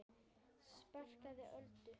Sparkar Öldu.